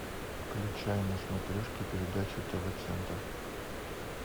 включай на смотрешке передачу тв центр